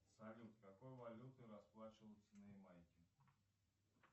салют какой валютой расплачиваются на ямайке